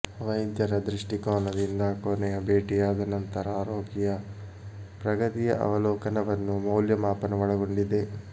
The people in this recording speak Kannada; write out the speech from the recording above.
ವೈದ್ಯರ ದೃಷ್ಟಿಕೋನದಿಂದ ಕೊನೆಯ ಭೇಟಿಯಾದ ನಂತರ ರೋಗಿಯ ಪ್ರಗತಿಯ ಅವಲೋಕನವನ್ನು ಮೌಲ್ಯಮಾಪನ ಒಳಗೊಂಡಿದೆ